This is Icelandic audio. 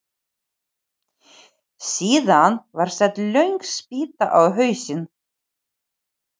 Síðan var sett löng spýta á hausinn.